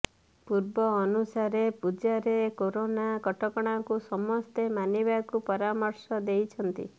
ପୂର୍ବ ଅନୁସାରେ ପୂଜାରେ କରୋନା କଟକଣାକୁ ସମସ୍ତେ ମାନିବାକୁ ପରାମର୍ଶ ଦେଇଛନ୍ତି